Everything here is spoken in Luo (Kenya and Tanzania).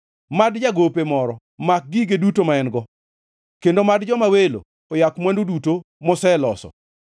Mad jagope moro mak gige duto ma en-go kendo mad joma welo oyak mwandu duto moseloso.